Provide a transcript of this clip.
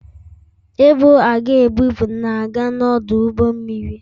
Ibu a ga-ebupụ na-aga n'ọdụ ụgbọ mmiri